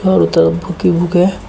बहुत बुक ही बुक है।